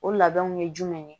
O labɛnw ye jumɛn ye